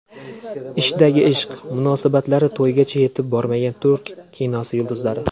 Ishdagi ishq: Munosabatlari to‘ygacha yetib bormagan turk kinosi yulduzlari .